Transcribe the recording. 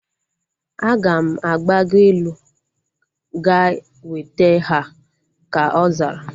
Aga m agbago elu ga weta ha, ka ọ zara